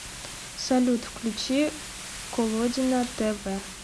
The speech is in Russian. салют включи колодина тэ вэ